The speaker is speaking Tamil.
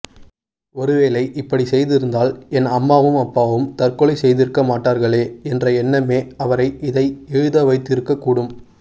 ஒருவேளை இப்படிச் செய்திருந்தால் என் அம்மாவும் அப்பாவும் தற்கொலை செய்திருக்கமாட்டார்களே என்ற எண்ணமே அவரை இதை எழுதவைத்திருக்கக் கூடும்